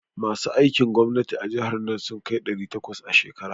Masu aikin gwamnati a jihar nan sun kai ɗari takwas a shekaran nan.